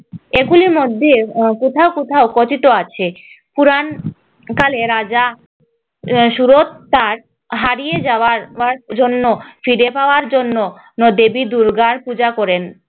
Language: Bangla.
আহ এগুলির মধ্যে আহ কোথাও কোথাও কথিত আছে, পুরাকালে রাজা আহ সুরথ তার হারিয়ে যাওয়া রাজ্য ফিরে পাওয়ার জন্য দেবী দুর্গার পূজা করেন